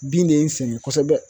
Bin de ye n sɛgɛn kosɛbɛ